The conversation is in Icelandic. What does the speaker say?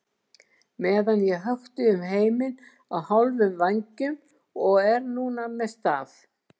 meðan ég hökti um heiminn á hálfum vængjum og er núna með staf.